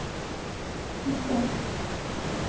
sitte